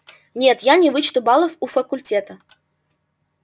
нет я не вычту баллов у факультета